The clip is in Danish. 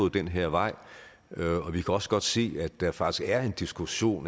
den her vej vi kan også godt se at der faktisk er en diskussion